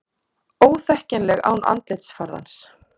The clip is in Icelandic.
Óþekkjanleg án andlitsfarðans